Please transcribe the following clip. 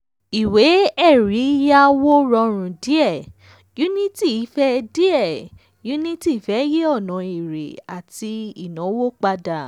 ìwé ẹ̀rí yàwó rọrùn díẹ̀; unity fẹ́ díẹ̀; unity fẹ́ yí ònà èrè àti ìnáwó padà.